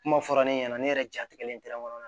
Kuma fɔra ne ɲɛna ne yɛrɛ jatigɛlen